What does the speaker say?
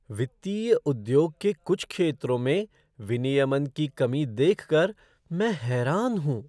वित्तीय उद्योग के कुछ क्षेत्रों में विनियमन की कमी देख कर मैं हैरान हूँ।